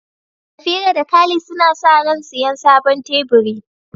Safira da Khalid suna sa ran siyan sabon teburi.